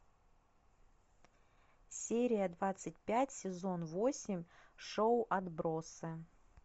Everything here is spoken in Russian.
серия двадцать пять сезон восемь шоу отбросы